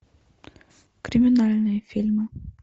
криминальные фильмы